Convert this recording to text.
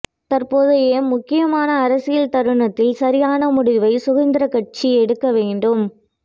தற்போதைய முக்கியமான அரசியல் தருணத்தில் சரியான முடிவை சுதந்திரக்கட்சி எடுக்கவேண்டும்